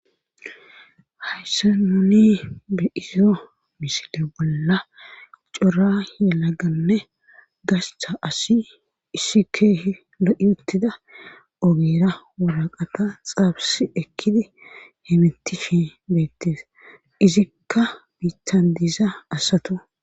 hayssa nuni bi7izyo misile bolla cora he laganne gascha asi issi keehi lo7i uttida ogira wolaqata xaabsi ekkidi hemitifi beettes izikka biitan diiza asato